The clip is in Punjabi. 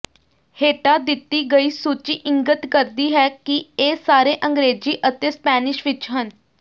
ਹੇਠਾਂ ਦਿੱਤੀ ਗਈ ਸੂਚੀ ਇੰਗਤ ਕਰਦੀ ਹੈ ਕਿ ਇਹ ਸਾਰੇ ਅੰਗਰੇਜ਼ੀ ਅਤੇ ਸਪੈਨਿਸ਼ ਵਿਚ ਹਨ